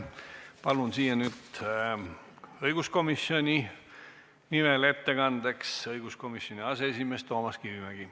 Palun nüüd õiguskomisjoni nimel ettekandeks kõnepulti õiguskomisjoni aseesimehe Toomas Kivimägi.